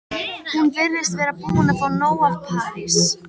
Hún virðist vera búin að fá nóg af París.